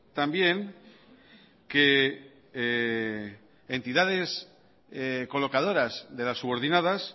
también que entidades colocadoras de las subordinadas